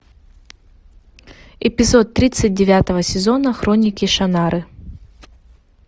эпизод тридцать девятого сезона хроники шаннары